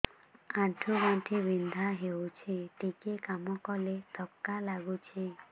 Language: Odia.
ଆଣ୍ଠୁ ଗଣ୍ଠି ବିନ୍ଧା ହେଉଛି ଟିକେ କାମ କଲେ ଥକ୍କା ଲାଗୁଚି